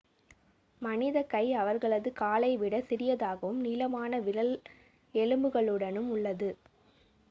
மனிதக் கை அவர்களது காலை விடச் சிறியதாகவும் நீளமான விரல் எலும்புகளுடனும் உள்ளது